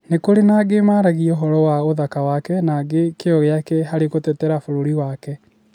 Ni͂ ku͂ri͂ na angi͂ maaragia u͂horo wa u͂thaka wake na angi͂ ki͂yo gi͂ake hari͂ gu͂tetera bu͂ru͂ri wake.